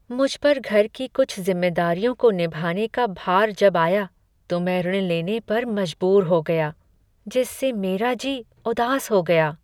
मुझ पर घर की कुछ जिम्मेदारियों को निभाने का भार जब आया तो मैं ऋण लेने पर मजबूर हो गया, जिससे मेरा जी उदास हो गया।